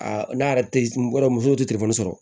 Aa n'a yɛrɛ tɛ n bɔ muso te sɔrɔ